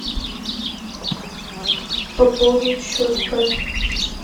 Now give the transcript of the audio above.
пополнить счет папе